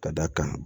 Ka d'a kan